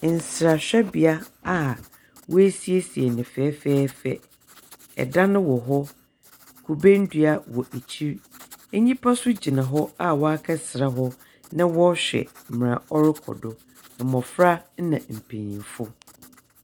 Nsrahwɛbea a wasiesie no fɛfɛɛfɛ. Ɛdan wɔ hɔ, Kube ndua wɔ akyiri. Enipa so gyina hɔ a wakɛsra hɔ na wɔɔhwɛ mera ɔrekɔ do. Mmɔfra na mpanyinfo.